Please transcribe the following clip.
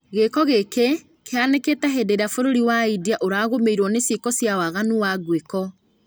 Gĩĩko gĩkĩ kĩhanĩkĩte hĩndĩ ĩrĩa bũrũri wa India ũragũmĩrwo nĩ ciĩko cia waganu wa nguĩko.